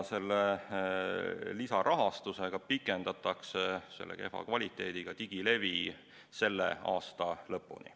Selle lisarahaga pikendatakse selle kehva kvaliteediga digilevi kättesaadavust selle aasta lõpuni.